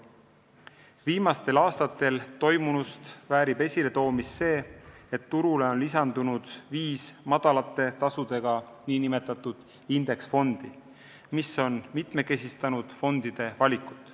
Viimastel aastatel toimunust väärib esiletoomist see, et turule on lisandunud viis madalate tasudega nn indeksfondi, mis on mitmekesistanud fondide valikut.